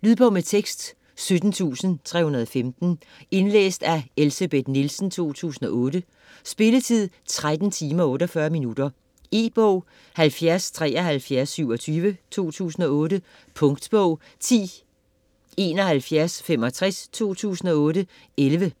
Lydbog med tekst 17315 Indlæst af Elsebeth Nielsen, 2008. Spilletid: 13 timer, 48 minutter. E-bog 707327 2008. Punktbog 107165 2008. 11 bind.